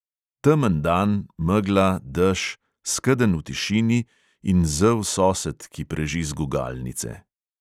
Temen dan, megla, dež, skedenj v tišini in zel sosed, ki preži z gugalnice.